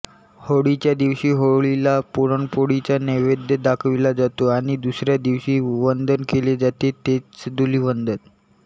होळीच्या दिवशी होळीला पुरणपोळीचा नैवेद्य दाखविला जातो आणि दुसऱ्या दिवशी वंदन केले जाते तेच धूलिवंदन